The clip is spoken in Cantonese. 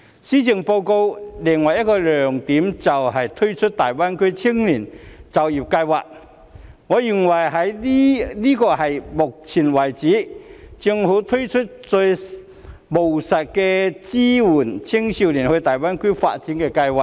施政報告的另一個亮點就是推出大灣區青年就業計劃，我認為這是到目前為止，政府推出最務實的一項支援青少年到大灣區發展的計劃。